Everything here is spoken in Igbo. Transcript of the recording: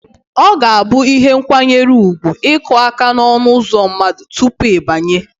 Ọ ga-abụ ihe nkwanyere ugwu ịkụ aka n'ọnụụzọ mmadụ tupu ị banye